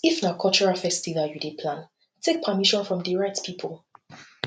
if na cultural festival you dey plan take permission from di right pipo